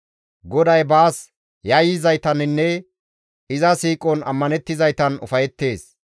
GODAY baas yayyizaytaninne iza siiqon ammanettizaytan ufayettees.